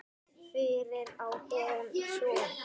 Fyrir á hún son.